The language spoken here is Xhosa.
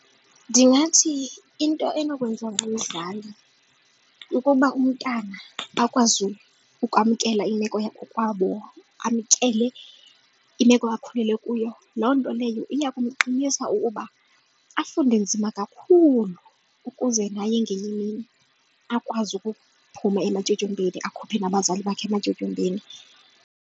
Ndingathi into enokwenza ngumzali ukuba umntana akwazi ukwamkela imeko yakokwabo amkele imeko akhulele kuyo loo nto leyo iya kumqinisa ukuba afunde nzima kakhulu ukuze naye ngenye imini akwazi ukuphuma ematyotyombeni akhuphe nabazali bakhe ematyotyombeni.